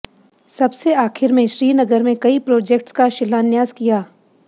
सबसे आखिर में श्रीनगर में कई प्रोजेक्ट्स का शिलान्यास किया